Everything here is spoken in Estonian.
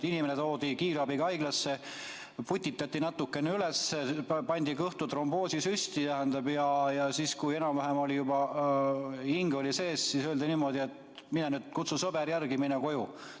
Inimene toodi kiirabiga haiglasse, putitati natukene üles, tehti kõhtu tromboosisüst ja kui enam-vähem oli juba hing sees, siis öeldi niimoodi, et kutsu sõber järele ja mine koju.